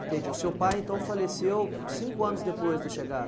Entendi, o seu pai então faleceu cinco anos depois da chegada?